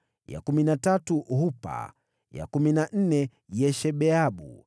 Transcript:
ya kumi na tatu Hupa, ya kumi na nne Yeshebeabu,